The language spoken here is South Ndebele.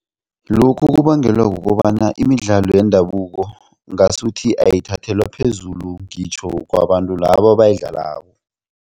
Lokhu kubangelwa kukobana imidlalo yendabuko ngasuthi ayithathelwa phezulu ngitjho kwabantu labo abayidlalako.